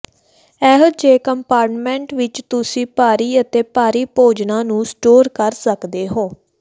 ਅਜਿਹੇ ਕੰਪਾਰਟਮੈਂਟ ਵਿਚ ਤੁਸੀਂ ਭਾਰੀ ਅਤੇ ਭਾਰੀ ਭੋਜਨਾਂ ਨੂੰ ਸਟੋਰ ਕਰ ਸਕਦੇ ਹੋ